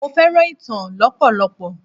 Mo fẹ́ràn ìtàn lọpọlọpọ.